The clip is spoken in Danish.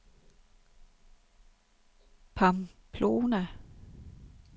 Pamplona